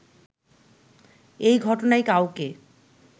এই ঘটনায় কাউকে